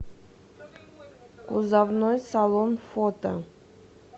кузовной салон фото